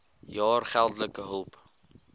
jaar geldelike hulp